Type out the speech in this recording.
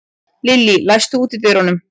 Lillý, læstu útidyrunum.